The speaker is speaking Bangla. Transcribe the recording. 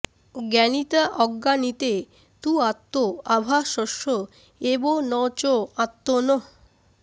জ্ঞানিতা অজ্ঞানিতে তু আত্ম আভাসস্য এব ন চ আত্মনঃ